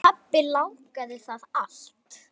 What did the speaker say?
Pabbi lagaði það allt.